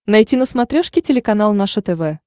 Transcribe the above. найти на смотрешке телеканал наше тв